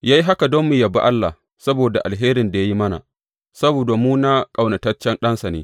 Ya yi haka don mu yabi Allah saboda alherin da ya yi mana saboda mu na ƙaunataccen Ɗansa ne.